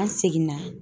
An seginna